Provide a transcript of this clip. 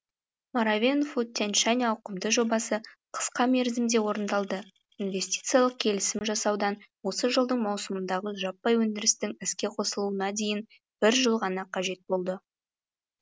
маревен фуд тянь шань ауқымды жобасы қысқа мерзімде орындалды инвестициялық келісім жасаудан осы жылдың маусымындағы жаппай өндірістің іске қосылуына дейін бір жыл ғана қажет болды